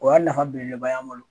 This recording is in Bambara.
O y'a nafa belebeleba y'an bolo